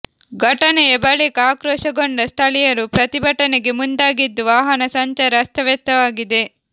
ಘಟನೆಯ ಬಳಿಕ ಆಕ್ರೋಶಗೊಂಡ ಸ್ಥಳೀಯರು ಪ್ರತಿಭಟನೆಗೆ ಮುಂದಾಗಿದ್ದು ವಾಹನ ಸಂಚಾರ ಅಸ್ತವ್ಯಸ್ತವಾಗಿದೆ